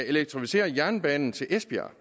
elektrificere jernbanen til esbjerg